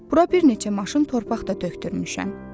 Bura bir neçə maşın torpaq da tökdürmüşəm.